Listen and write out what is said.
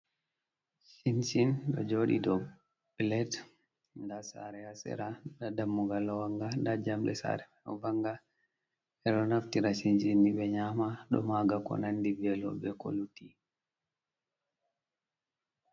Shinshin ɗo joɗi dou plet. Nda sare ha sera nda dammugal ɗo wanga, nda jamɗe sare man ɗo vanga, ɓeɗo naftira shinchini ni ɓe nyama ɗo maga ko nandi velo be ko lutti.